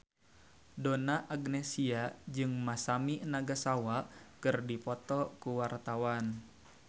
Donna Agnesia jeung Masami Nagasawa keur dipoto ku wartawan